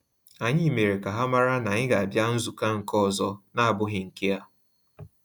Anyị mere ka ha mara na anyị ga abia nzukọ nke ọzọ na-abụghị nke a